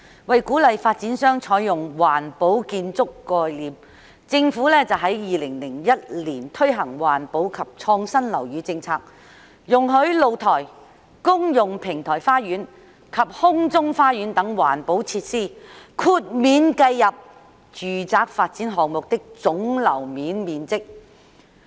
為鼓勵發展商採用環保建築概念，政府在2001年推行環保及創新樓宇政策，容許露台、公用平台花園及空中花園等環保設施豁免計入住宅發展項目的總樓面面積。